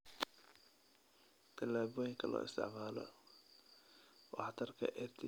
Tallaabooyinka loo isticmaalo waxtarka EdTech ee daraasadaha